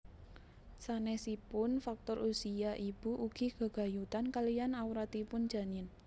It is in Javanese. Sanésipun faktor usia ibu ugi gegayutan kaliyan awratipun janin